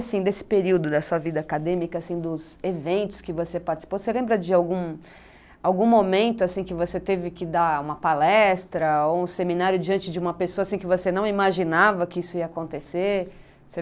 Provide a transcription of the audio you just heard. Assim, nesse período da sua vida acadêmica, dos eventos que você participou, você lembra de algum algum momento que você teve que dar uma palestra ou um seminário diante de uma pessoa que você não imaginava que isso ia acontecer?